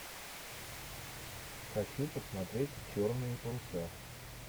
хочу посмотреть черные паруса